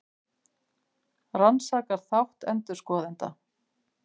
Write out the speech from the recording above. Rannsakar þátt endurskoðenda